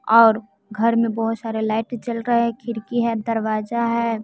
और घर में बहोत सारे लाइट जल रहे है खिड़की है दरवाजा है।